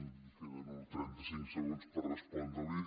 em queden uns trentacinc segons per respondre’l